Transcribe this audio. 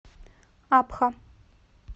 абха